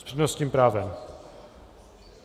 S přednostním právem?